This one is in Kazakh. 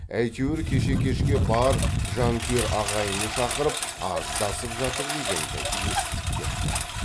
әйтеуір кеше кешке бар жанкүйер ағайыны шақырып арыздасып жатыр дегенді есіттік депті